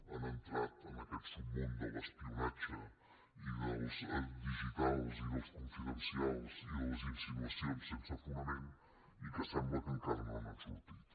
han entrat en aquest submón de l’espionatge i dels digitals i dels confidencials i de les insinua cions sense fonament i que sembla que encara no n’han sortit